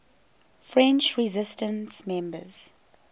french resistance members